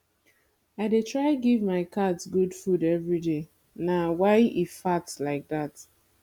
i dey try give my cat good food everyday na why e fat like dat